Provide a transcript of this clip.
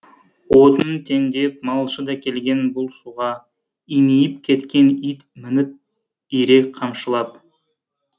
отынын теңдеп малшы да келген бұл суға имиіп кеткен ит мініп ирек қамшылап